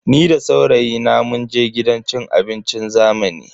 Ni da saurayina munje gidan cin abincin zamani.